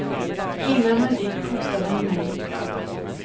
Innan han gick hotade han mej.